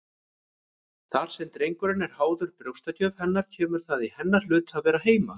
Þar sem drengurinn er háður brjóstagjöf hennar kemur það í hennar hlut að vera heima.